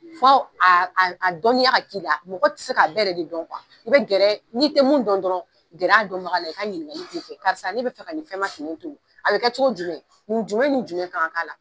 Fo a dɔnniya ka k'i la mɔgɔ te se ka bɛɛ dɔn i be gɛrɛ n'i te mun dɔn dɔrɔn gɛrɛ a dɔnbagala la; i ka ɲininkali k'u fɛ. Karisa n be fɛ ka nin fɛn masinɛ turu a be kɛ cogo jumɛn ? Jumɛn ni jumɛn kan ka k'a la?